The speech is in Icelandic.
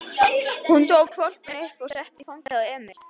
Hún tók hvolpinn upp og setti í fangið á Emil.